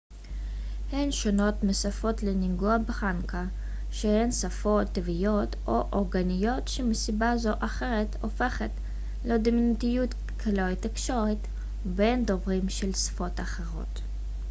הן שונות משפות לינגואה פרנקה שהן שפות טבעיות או אורגניות שמסיבה זו או אחרת הופכות לדומיננטיות ככלי תקשורת בין דוברים של שפות אחרות